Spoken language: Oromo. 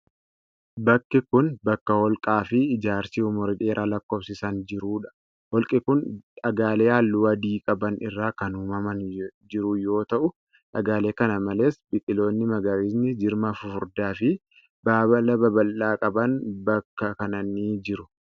Bakki kun bakka holqaa fi ijaarsi umurii dheeraa lakkoofsisan jiruu dha. holqi kun, dhagaalee halluu adii qaban irraa kan uumamaan jiru yoo ta'u, dhagaalee kana malees biqiloonni magariisni jirma fufurdaa fi baala babal'aa qaban bakka kana ni jiru.